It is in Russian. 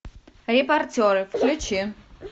репортеры включи